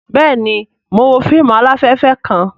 Bẹẹni, Mo n wo fíìmù alafẹfẹ kàn